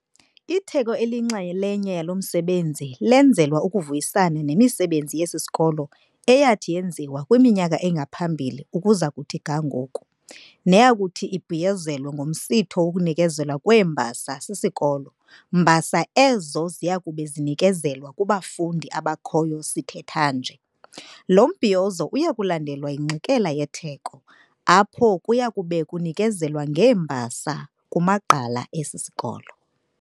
Itheko eliyinxalenye yalo msebenzi lenzelwa ukuvuyisana nemisebenzi yesi sikolo eyathi yenziwa kwimyaka engaphambili ukuza kuthi ga ngoku, neyakuthi ibhiyozelwe ngomsitho wokunikezelwa kweembasa sisikolo, mbasa ezo ziyakube zinikezelwa kubafundi abakhoyo sithetha nje. Lo mbhiyozo uyakulandelwa yingxikela yetheko, apho kuyakube kunikezelwa ngeembasa kumagqala esi sikolo.